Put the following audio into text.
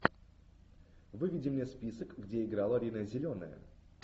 выведи мне список где играла рина зеленая